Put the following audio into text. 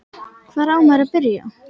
Hvar á maður að byrja?